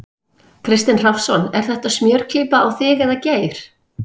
Kristinn Hrafnsson: Er þetta smjörklípa á þig eða Geir?